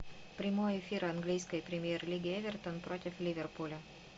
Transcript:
прямой эфир английской премьер лиги эвертон против ливерпуля